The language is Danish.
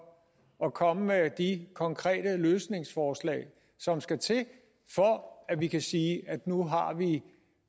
at komme med de konkrete løsningsforslag som skal til for at man kan sige at nu